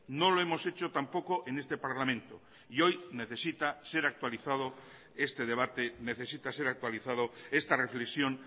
no lo hemos hecho tampoco en este parlamento y hoy necesita ser actualizado este debate necesita ser actualizado esta reflexión